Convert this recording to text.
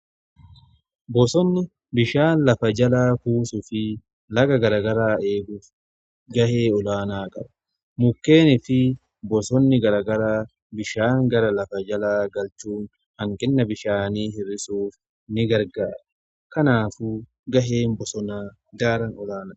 Bosonni bishaan lafa jalaa kuusuu fi laga garagaraa eeguuf ga'ee olaanaa qabu. Mukkeeni fi bosonni garagara bishaan gara lafa jalaa galchuu hanqina bishaanii hir'isuuf ni gargaara. Kanaafu ga'een bosonaa daran olaanaadha.